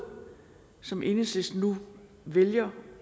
som enhedslisten nu vælger